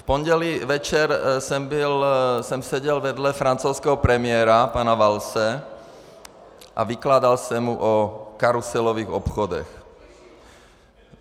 V pondělí večer jsem seděl vedle francouzského premiéra pana Vallse a vykládal jsem mu o karuselových obchodech.